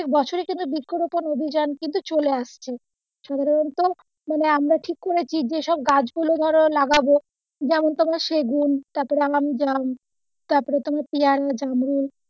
বছরই কিন্তু বৃক্ষ রোপণ অভিজান কিন্তু চলে আসছে সুতরাং আমরা ঠিক করেছি যেসব গাছ লাগাবো যেমন তোমার সেগুন তারপর আম জাম তারপরে তোমার পিয়ারা, জামরুল,